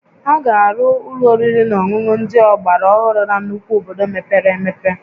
A ga-arụ ụlọ oriri na ọṅụṅụ ndị ọgbara ohụrụ na nnukwu obodo mepere emepe